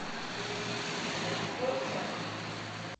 вы пьете